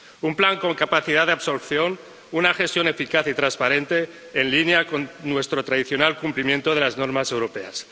un plan con capacidad de absorción y una gestión eficaz y transparente, en línea con nuestro tradicional cumplimiento de las normas europeas.